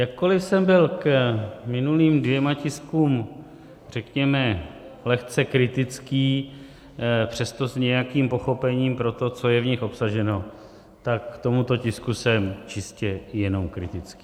Jakkoliv jsem byl k minulým dvěma tiskům, řekněme, lehce kritický, přesto s nějakým pochopením pro to, co je v nich obsaženo, tak k tomuto tisku jsem čistě jenom kritický.